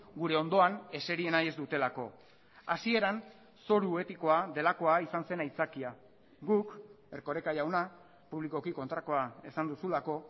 gure ondoan eseri nahi ez dutelako hasieran zoru etikoa delakoa izan zen aitzakia guk erkoreka jauna publikoki kontrakoa ezan duzulako